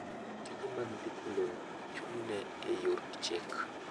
Tije mag ndiko lowo ochung’ne e yor chik.